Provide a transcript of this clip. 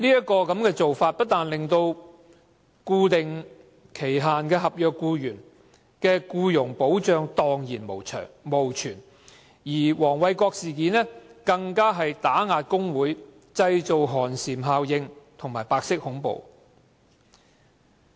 該漏洞不單令固定期限合約僱員毫無僱傭保障，黃偉國事件更是打壓工會，製造寒蟬效應和白色恐怖的實例。